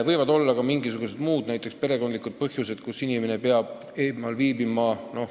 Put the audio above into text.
Võib olla ka mingisugused muid, näiteks perekondlikke põhjusi, kui inimene peab eemal viibima.